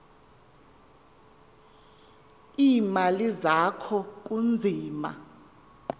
iimali zakho kunzima